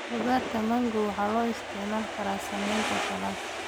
Khadka mango waxay loo isticmaali karaa samaynta saladh.